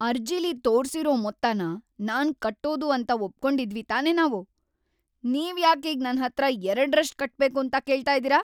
ಅರ್ಜಿಲಿ ತೋರ್ಸಿರೋ ಮೊತ್ತನ ನಾನ್‌ ಕಟ್ಟೋದು ಅಂತ ಒಪ್ಕೊಂಡಿದ್ವಿ‌ ತಾನೇ ನಾವು. ನೀವ್ಯಾಕೀಗ ನನ್ಹತ್ರ ಎರಡ್ರಷ್ಟ್‌ ಕಟ್ಬೇಕು ಅಂತ ಕೇಳ್ತಾ ಇದೀರ?